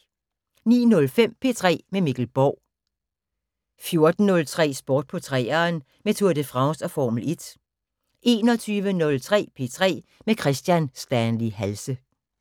09:05: P3 med Mikkel Borg 14:03: Sport på 3'eren med Tour de France og Formel 1 21:03: P3 med Kristian Stanley Halse